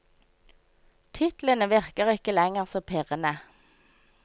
Titlene virker ikke lenger så pirrende.